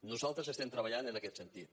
nosaltres estem treballant en aquest sentit